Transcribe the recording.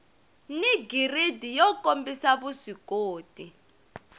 ni giridi yo kombisa vuswikoti